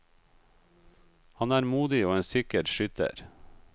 Han er modig og en sikker skytter.